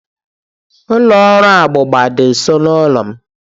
Ụlọ ọrụ agba agba dị nso n'ụlọ m